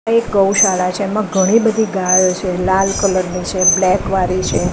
અહીં એક ગૌશાળા છે એમાં ઘણી બધી ગાયો છે લાલ કલર ની છે બ્લેક કલર વારી છે.